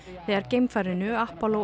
þegar geimfarinu